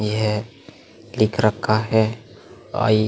यह एक रखा है अ --